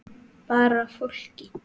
Bara fólki.